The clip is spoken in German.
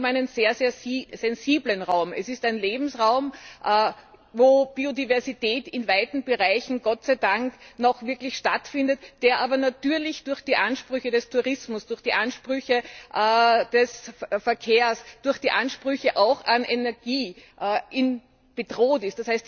Es geht um einen sehr sensiblen Raum. Es ist ein Lebensraum, in dem Biodiversität in weiten Bereichen Gott sei Dank noch wirklich existiert, der aber natürlich durch die Ansprüche des Tourismus, durch die Ansprüche des Verkehrs, durch die Ansprüche auch an Energie bedroht ist.